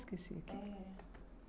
Esqueci aqui.